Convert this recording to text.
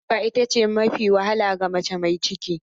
Haihuwa ita ce mafi wahala ga mace mai ciki.